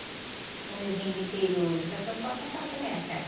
Quando eu vim do interior para São Paulo, São Paulo também era calmo.